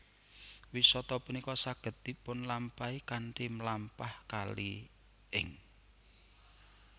Wisata punika saged dipunlampahi kanthi mlampah kali ing